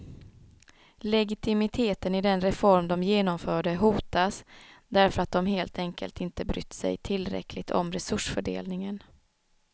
Legitimiteten i den reform de genomförde hotas, därför att de helt enkelt inte brytt sig tillräckligt om resursfördelningen.